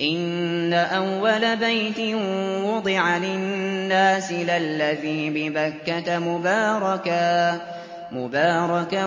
إِنَّ أَوَّلَ بَيْتٍ وُضِعَ لِلنَّاسِ لَلَّذِي بِبَكَّةَ مُبَارَكًا